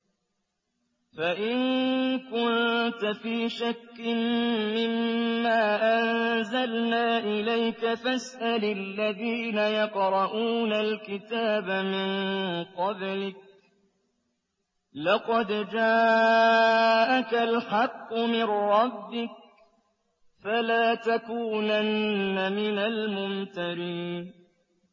فَإِن كُنتَ فِي شَكٍّ مِّمَّا أَنزَلْنَا إِلَيْكَ فَاسْأَلِ الَّذِينَ يَقْرَءُونَ الْكِتَابَ مِن قَبْلِكَ ۚ لَقَدْ جَاءَكَ الْحَقُّ مِن رَّبِّكَ فَلَا تَكُونَنَّ مِنَ الْمُمْتَرِينَ